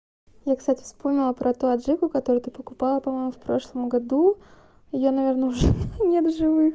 я кстати вспомнила про ту аджику которую ты покупала по-моему в прошлом году её наверное уже нет в живых